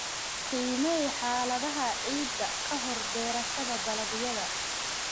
Qiimee xaaladaha ciidda ka hor beerashada dalagyada.